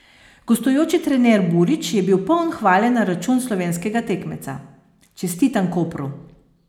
Gostujoči trener Burić je bil poln hvale na račun slovenskega tekmeca: 'Čestitam Kopru.